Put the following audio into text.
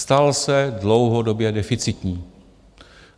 Stal se dlouhodobě deficitním.